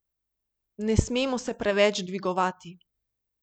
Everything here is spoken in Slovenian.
Ne smemo se preveč dvigovati.